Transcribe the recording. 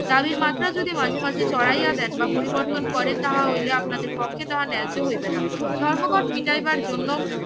দাবীর মাত্রা যদি মাঝে মাঝে চড়াইয়া দেন বা পরিবর্তন করেন তাহা হইলে আপনাদের পক্ষে তাহা ন্যায্য হইবে না ধর্মঘট মিটাইবার জন্য